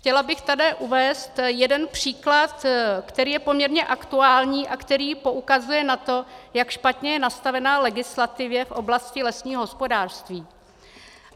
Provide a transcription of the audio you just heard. Chtěla bych tady uvést jeden příklad, který je poměrně aktuální a který poukazuje na to, jak špatně je nastavena legislativa v oblasti lesního hospodářství.